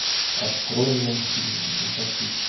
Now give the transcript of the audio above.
открой мне фильм танцовщица